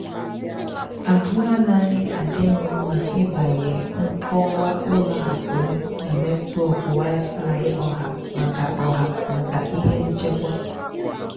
àhụ́ ànaghị́ àdì m mmá ị́bànyé nkọ́wá ùlọ àkụ́ m nà nétwọ́k wi-fi ọ̀hà màkà ọ̀hà màkà íhé nchèkwà.